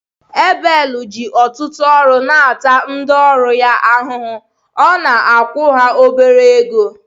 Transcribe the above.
Ebel ji ọtụtụ ọrụ na-ata ndị ọrụ ya ahụhụ, ọ na-akwụkwa ha obere ego